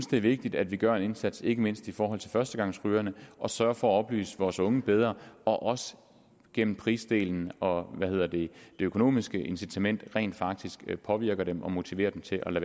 det er vigtigt at vi gør en indsats ikke mindst for førstegangsrygerne og sørger for at oplyse vores unge bedre og også gennem prisdelen og det økonomiske incitament rent faktisk at påvirke dem og motivere dem til at